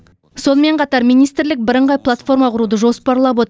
сонымен қатар министрлік бірыңғай платформа құруды жоспарлап отыр